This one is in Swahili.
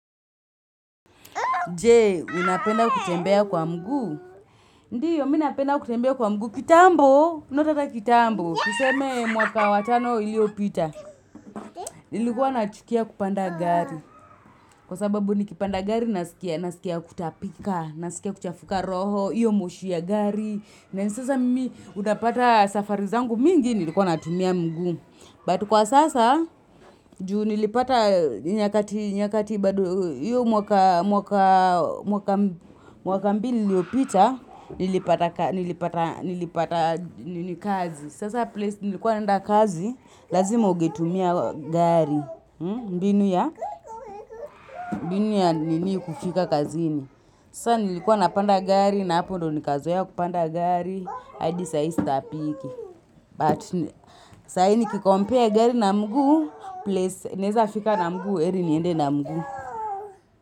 Je, unapenda kutembea kwa mguu? Ndiyo, mnapenda kutembea kwa mguu? Kitambo, not hata kitambo. Tuseme mwaka wa tano iliyopita. Nilikuwa nachukia kupanda gari. Kwa sababu, nikipanda gari, nasikia kutapika, nasikia kuchafuka roho, iyo moshi ya gari. Na sasa mimi, unapata safari zangu mingi, nilikuwa natumia mguu. But kwa sasa, juu nilipata nyakati, nyakati bado, hiyo mwaka mwaka mbili iliyopita, nilipata kazi. Sasa place nilikuwa naenda kazi, lazima ungetumia gari, mbinu ya nini kufika kazini. Sasa nilikuwa napanda gari, na hapo ndio nikazoea ya kupanda gari, hadi saa hii sitapiki. Saa hii nikicompare gari na mguu, place naeza nafika na mguu, heri niende na mguu.